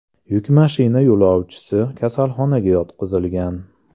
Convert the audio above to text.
Yuk mashina yo‘lovchisi kasalxonaga yotqizilgan.